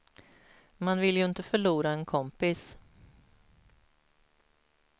Man vill ju inte förlora en kompis.